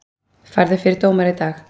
Færður fyrir dómara í dag